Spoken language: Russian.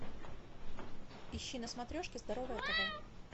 ищи на смотрешке здоровое тв